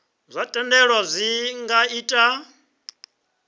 zwa thendelo zwi nga ita